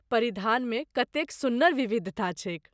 परिधानमे कतेक सुन्नर विविधता छैक!